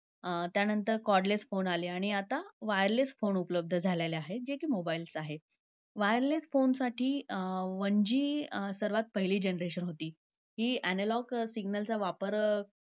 अं त्यानंतर cordless phone आले आणि आता wireless phone पण उपलब्ध झालेले आहेत, जे कि mobiles आहेत. wireless phone साठी अं one G सर्वात पहिली generation होती. ही analog signals चा वापर